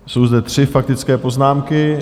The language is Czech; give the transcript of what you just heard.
Jsou zde tři faktické poznámky.